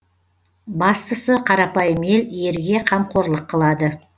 бастысы қарапайым ел ерге қамқорлық қылады